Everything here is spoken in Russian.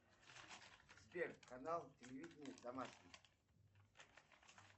сбер канал телевидения домашний